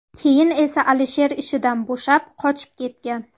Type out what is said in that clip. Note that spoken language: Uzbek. Keyin esa Alisher ishidan bo‘shab, qochib ketgan.